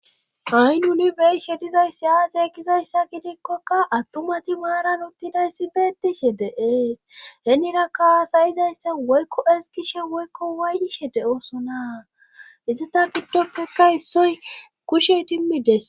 Hainuni beishe dizayssi aaceekizayssa gidikkoka attumati maaran uttidayssi beettishe deees henirakkasayizayssa woykko eskishe woykko waay7ishe de7oosonaa izita giddoppeka issoy kushey dimmides.